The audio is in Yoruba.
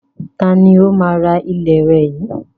Ta ni ó máa rà ilẹ̀ rẹ yìí